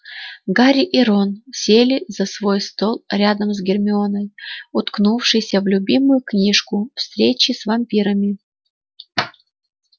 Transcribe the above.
гарри и рон сели за свой стол рядом с гермионой уткнувшейся в любимую книжку встречи с вампирами